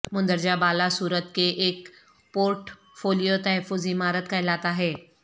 مندرجہ بالا صورت کے ایک پورٹ فولیو تحفظ عمارت کہلاتا ہے